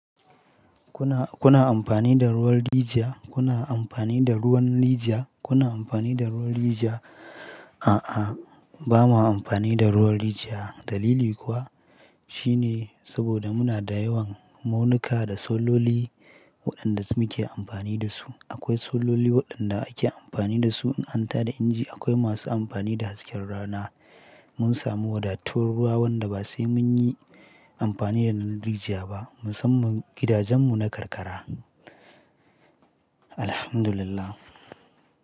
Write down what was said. Kuna, kuna amfani da ruwan rijiya? Kuna amfani da ruwan rijiya? Kuna amfani da ruwan rijiya? A'a, ba ma amfani da ruwan rijiya. Dalili kuwa shine saboda muna da yawan munuka da sololi waɗanda muke amfani da su. Akwai sololi waɗanda ake amfani da su in an ta da inji. Akwai masu amfani da hasken rana. Mun sami wadattar ruwa wanda ba sai mun yi amfani da na rijiya ba. Musamman gidajenmu na karkara. Alhamdulillah.